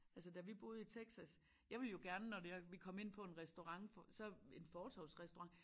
Altså da vi boede i Texas jeg ville jo gerne når det er at vi kom ind på en restaurant for så en fortovsrestaurant